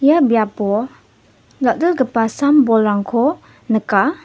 ia biapo dal·dalgipa sam bolrangko nika.